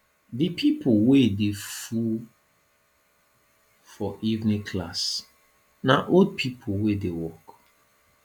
di pipo wey dey full for evening class na old pipo wey dey work